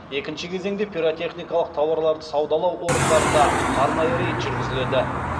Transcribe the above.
екінші кезеңінде пиротехникалық тауарларды саудалау орындарында арнайы рейд жүргізіледі